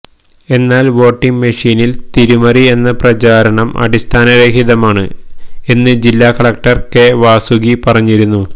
എന്നാൽ വോട്ടിങ് മിഷീനിൽ തിരിമറി എന്ന പ്രചാരണം അടിസ്ഥാനരഹിതമാണ് എന്ന് ജില്ലാ കളക്ടർ കെ വാസുകി പറഞ്ഞിരുന്നു